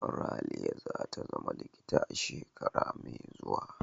Raliya za ta zama likita a shekara mai zuwa.